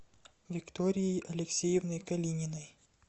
викторией алексеевной калининой